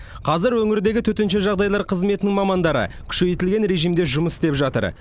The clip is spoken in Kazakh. қазір өңірдегі төтенше жағдайлар қызметінің мамандары күшейтілген режімде жұмыс істеп жатыр